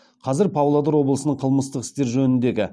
қазір павлодар облысының қылмыстық істер жөніндегі